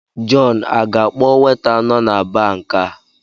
Jọn aga-akpọ weta nọ na baa nke a?